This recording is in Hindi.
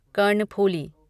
कर्णफूली